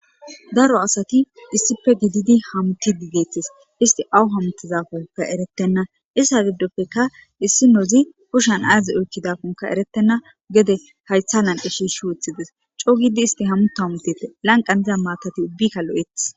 Daro asati issippe gididi hamutishe de7eetes isti awa hamuttizakkone erettibeena,ista gidoppekka issinozi kushan aazo oykidakoka erettena,gede hayththan wothidees,coo giidi hamuththu hametetees,lanqqan de7iza maatati ubbaykka lo7eetesi.